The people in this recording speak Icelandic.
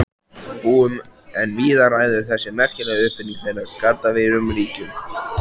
Búum en víða ræður þessi merkilega uppfinning þeirra, gaddavírinn, ríkjum.